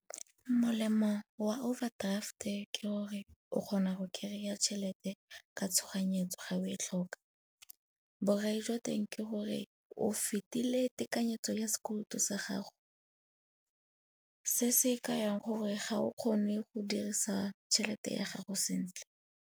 Molemo wa overdraft-e ke gore o kgona go kry-a tšhelete ka tshoganyetso ga o e tlhoka. Borai jwa teng ke gore o fetile tekanyetso ya sekoloto sa gago, se se kayang gore ga o kgone go dirisa tšhelete ya gago sentle.